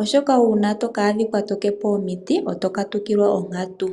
oshoka uuna to ka adhika to tete po omiti oto katukilwa onkatu.